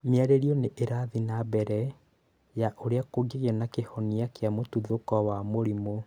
Mĩario nĩ ĩrathiĩ na mbere ya ũrĩa kũngĩgĩa na kĩhonia kĩa mũtuthũko wa mũrimũ